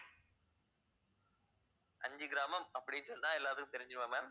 அஞ்சுகிராமம் அப்படின்னு சொன்னா எல்லாத்துக்கும் தெரிஞ்சுடுமா ma'am